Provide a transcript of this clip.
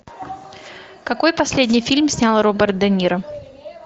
какой последний фильм снял роберт де ниро